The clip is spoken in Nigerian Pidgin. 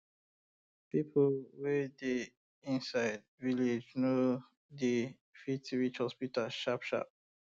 people wey dey inside um village no dey fit um reach hospital sharpsharp